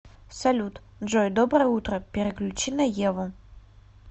салют джой доброе утро переключи на еву